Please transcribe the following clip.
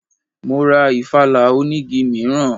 Mọ ra ìfala onigi mìíràn.